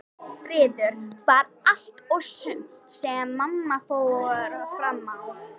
Friður var allt og sumt sem mamma fór fram á.